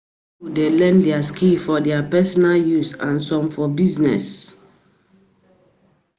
Some pipo de learn di skill for their personal use and some for business